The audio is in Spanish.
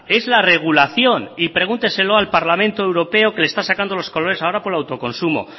es la regulación y pregúnteselo al parlamento europeo que le está sacando los colores ahora por el autoconsumo